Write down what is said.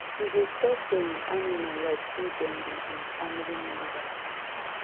he dey talk to em animal like say dem be em family members